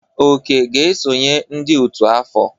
Oke ga-esonye n'ọtú afọ.